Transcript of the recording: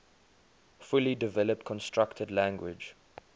fully developed constructed language